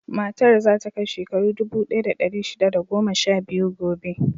Matar za ta kai shekaru dubu ɗaya da ɗari shida da goma sha biyu gobe.